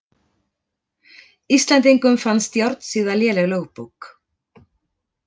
Íslendingum fannst Járnsíða léleg lögbók.